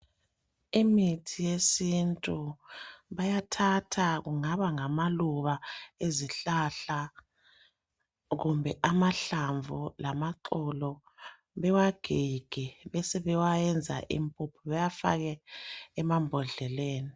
Imithi yesintu bayathatha kungaba ngamaluba ezihlahla kumbe amahlamvu lamaxolo bewagige besebewa yenza impuphu bewafake emambodleleni.